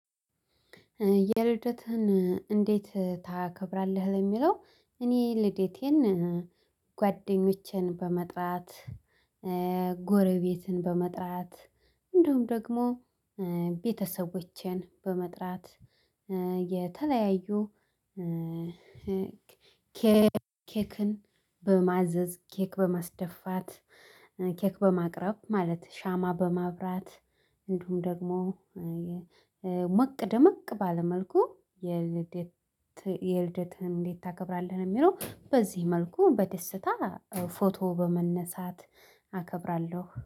የልደትህን እንዴት ታከብራለህ? ለሚለው እኔ ልደቴን ጓደኞቼን በመጥራት ጎረቤትን በመጥራት እንዲሁም ደግሞ ቤተሰቦቼን በመጥራት የተለያዩ ኬክን በማዘዝ ኬክ በማስደፋት ኬክ በማቅረብ ማለት ሻማ በማብራት እንዲሁም ደግሞ ሞቅ ደመቅ ባለ መልኩ የልደት የልደትህን እንዴት ታከብራለህ ለሚለው በዚህ መልኩ በደስታ ፎቶ በመነሳት አከብራለሁ